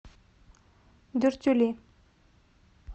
дюртюли